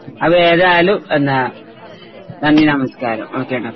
അതെ ഏതായാലും പിന്നെ നന്ദി നമസ്കാരം ഓക്കേ ഡാ